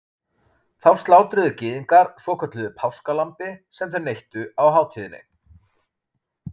Þá slátruðu Gyðingar svokölluðu páskalambi sem þeir neyttu á hátíðinni.